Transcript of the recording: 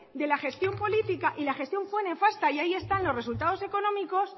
de la gestión política y la gestión fue nefasta y ahí están los resultados económicos